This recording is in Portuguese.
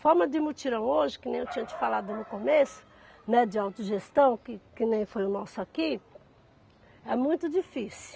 Formas de mutirão hoje, que nem eu tinha te falado no começo, né, de autogestão, que que nem foi o nosso aqui, é muito difícil.